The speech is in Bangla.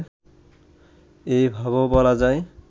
এভাবেও বলা যায়